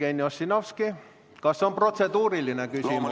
Jevgeni Ossinovski, kas on protseduuriline küsimus?